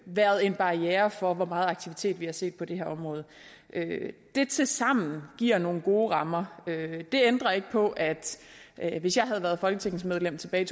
været en barriere for hvor meget aktivitet vi har set på det her område det tilsammen giver nogle gode rammer det ændrer ikke på at at hvis jeg havde været folketingsmedlem tilbage i